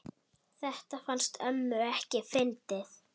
Þetta fannst ömmu ekki fyndið.